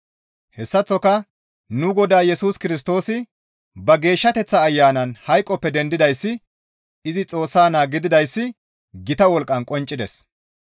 Hessaththoka nu Godaa Yesus Kirstoosi ba geeshshateththa Ayanan hayqoppe dendidayssi izi Xoossa naa gididayssi gita wolqqan qonccides.